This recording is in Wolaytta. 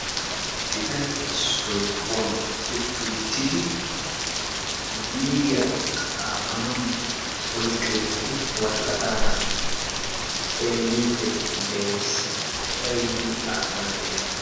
Biitane issoy kuwaan uttiuttidi biiriya xaafanawu oyqqi uttidi worqqataara xeelliidi de'ees qofay yiin xaafanayo.